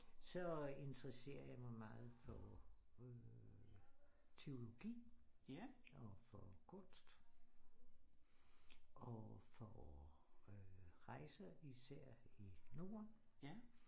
Så interesserer jeg mig meget for teologi og for kunst og for rejse især i Norden